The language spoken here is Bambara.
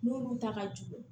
Munnu ta ka jugu